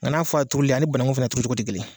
N' faa turuli a ni bananku fana turu cogo tɛ kelen ye.